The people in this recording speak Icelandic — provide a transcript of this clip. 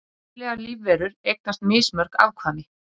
Breytilegar lífverur eignast mismörg afkvæmi.